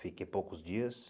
Fiquei poucos dias.